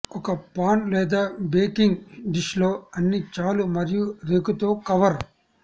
ఒక పాన్ లేదా baking dish లో అన్ని చాలు మరియు రేకుతో కవర్